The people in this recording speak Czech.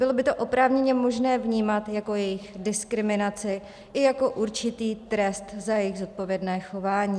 Bylo by to oprávněně možné vnímat jako jejich diskriminaci i jako určitý trest za jejich zodpovědné chování.